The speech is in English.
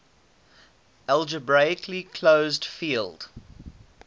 algebraically closed field